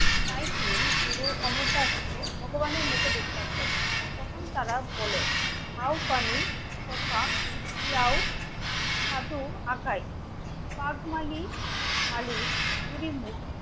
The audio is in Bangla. তাই তিনি পুরো অমরদাসকে ভগবানের মতো বিশ্বাস করবেন তখন তারা বলেন পানি কথা, পিয়াও ছাতু, ঢাকাই. পাক মানি, মালিক,